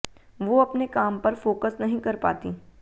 वो अपने काम पर फ़ोकस नहीं कर पातीं